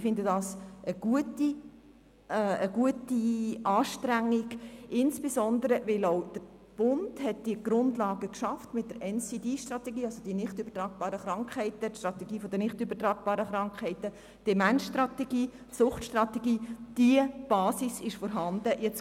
Ich finde dies eine gute Sache, insbesondere weil der Bund mit der Strategie zu den nicht übertragbaren Krankheiten, der Demenzstrategie und der Suchtstrategie eine Basis geschaffen hat.